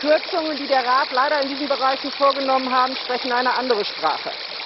Die Kürzungen, die der Rat leider in diesen Bereichen vorgenommen hat, sprechen eine andere Sprache.